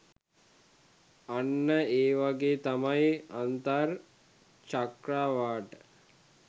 අන්න ඒවගේ තමයි අන්තර් චක්‍රාවාට